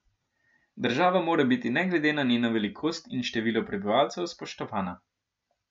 Država mora biti ne glede na njeno velikost in število prebivalcev spoštovana.